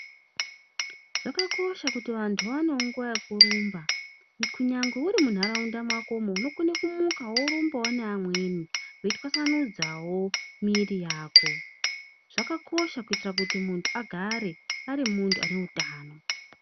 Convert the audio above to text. Zvakakosha kuti vantu vaonewo nguwa yekurumba kunyangwe uri munharaunda mwako mwo. Unokona kumuka worumbawo neamweni weitwasananudzawo miiri yako. Zvakakosha kuti muntu agare ari muntu ane utano.